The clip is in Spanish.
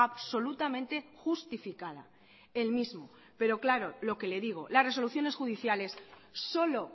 absolutamente justificada el mismo pero claro lo que le digo las resoluciones judiciales solo